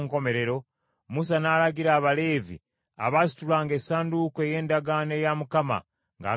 Musa n’alagira Abaleevi abaasitulanga Essanduuko ey’Endagaano eya Mukama , ng’agamba nti,